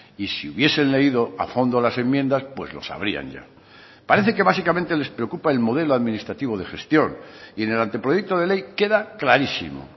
y si hubiesen leído a fondo las enmiendas pues lo sabrían ya parece que básicamente les preocupa el modelo administrativo de gestión y en el anteproyecto de ley queda clarísimo